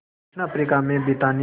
दक्षिण अफ्रीका में ब्रितानी